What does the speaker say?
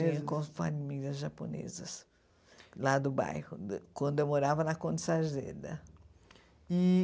Tinha com famílias japonesas, lá do bairro, do quando eu morava na Conde Sarzeda. E